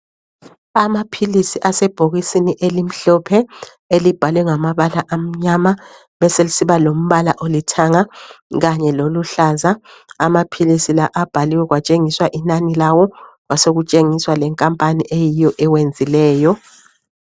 Amaphilisi asebhokisini elimhlophe elibhalwe ngamabala amnyama, beselsiba lombala olithanga kanye loluhlaza. Amaphilisi la abhaliwe kwatshengiswa inani lawo kwasokutshengiswa lenkampani eyiyo ewenzileyo.